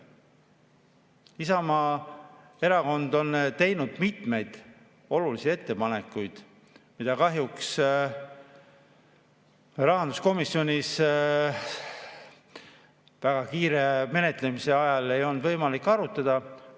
Isamaa Erakond on teinud mitmeid olulisi ettepanekuid, mida kahjuks rahanduskomisjonis väga kiire menetlemise ajal ei olnud võimalik arutada.